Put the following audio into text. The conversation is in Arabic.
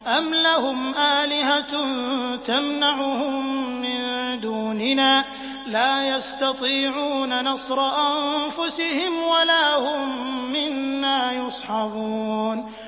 أَمْ لَهُمْ آلِهَةٌ تَمْنَعُهُم مِّن دُونِنَا ۚ لَا يَسْتَطِيعُونَ نَصْرَ أَنفُسِهِمْ وَلَا هُم مِّنَّا يُصْحَبُونَ